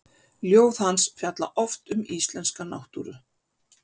Ljóð hans fjalla oft um íslenska náttúru.